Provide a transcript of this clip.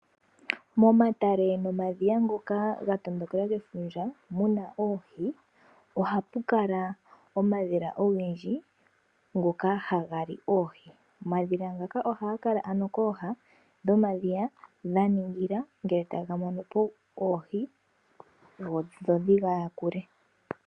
Momatele nomadhiya ngoka ga tondokelwa kefundja muna oohi, ohapu kala omadhila ogendji ngoka haga li oohi. Omadhila ngaka ohaga kala ano kooha dhomadhiya ga ningila ngele taga mono po oohi, dho dhi yakule.